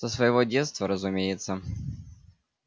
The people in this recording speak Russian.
со своего детства разумеется